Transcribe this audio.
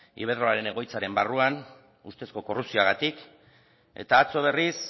iberdrola egoitzaren barruan ustezko korrupzioagatik eta atzo berriz